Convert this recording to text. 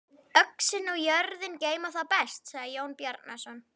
Öxin og jörðin geyma þá best, sagði Jón Bjarnason.